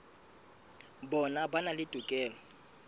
bona ba na le tokelo